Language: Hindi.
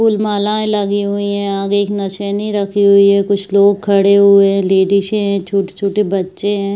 फूल मालाएं लगी हुई है। आगे एक नसेनी रखी हुई है | कुछ लोग खड़े हुए है। लेडीसे हैं छोटे-छोटे बच्चे हैं।